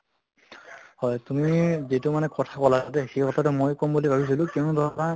হয় তুমি যিটো মানে ক্থা কলা দে সেই কথাটো ময়ো কʼম বুলি ভাবিছিলো কিয়্নো ধৰা